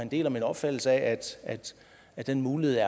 deler min opfattelse af at den mulighed